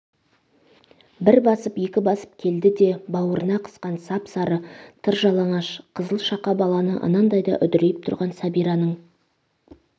бір басып екі басып келді де бауырына қысқан сап-сары тыр жалаңаш қызылшақа баланы анандай да үдірейп тұрған сәбираның